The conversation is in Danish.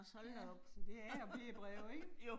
Ja, så det er B breve ikke?